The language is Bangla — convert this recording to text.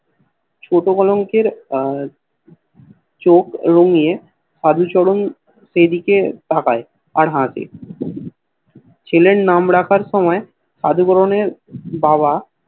ছোট বড় অঙ্কের চোখ গুলো নিয়ে সাধু চরণ সেদিকে তাকায় আর হাসে ছেলের নাম রাখার সময় সাধুচরণের বাবা